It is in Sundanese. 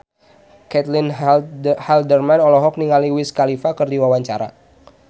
Caitlin Halderman olohok ningali Wiz Khalifa keur diwawancara